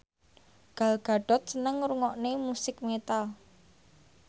Gal Gadot seneng ngrungokne musik metal